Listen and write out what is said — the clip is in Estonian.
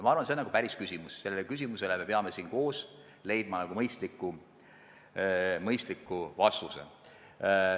Ma arvan, et see on päris tõsine küsimus ja sellele küsimusele me peame siin koos leidma mõistliku lahenduse.